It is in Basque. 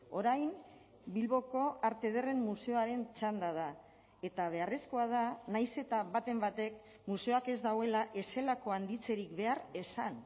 orain bilboko arte ederren museoaren txanda da eta beharrezkoa da nahiz eta baten batek museoak ez duela ez zelako handitzerik behar esan